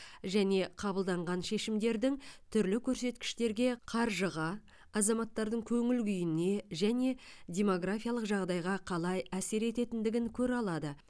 және қабылданған шешімдердің түрлі көрсеткіштерге қаржыға азаматтардың көңіл күйіне және демографиялық жағдайға қалай әсер ететіндігін көре алады